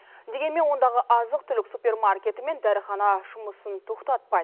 дегенмен ондағы азық түлік супермаркеті мен дәріхана жұмысын тоқтатпайды